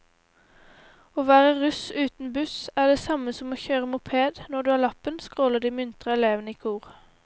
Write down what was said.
Å være russ uten buss er det samme som å kjøre moped når du har lappen, skråler de muntre elevene i kor.